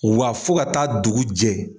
Wa fo ka taa dugu jɛ.